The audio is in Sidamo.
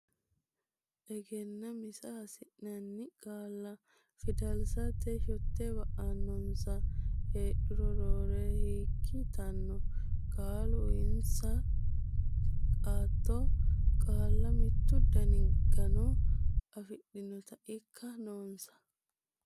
Egennaa misa Hasi nanni qaalla fidalsate shotte ba annonsa heedhuro Roore hekki yitanno qaalla uyinsa aatto qaalla mittu dani gano afidhinota ikka noonsa.